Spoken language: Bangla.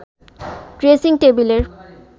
ড্রেসিং টেবিলের